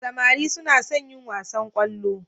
Samari suna son yin wasan kwallo.